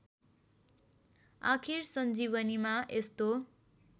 आखिर सञ्जीवनीमा यस्तो